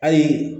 Ayi